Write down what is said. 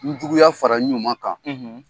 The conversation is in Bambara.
N Juguya fara n ɲuman kan,